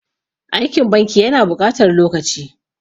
Aikin banki ya na buƙatar lokaci.